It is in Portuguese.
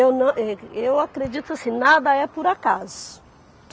Eu nã êh, que eu acredito assim, nada é por acaso.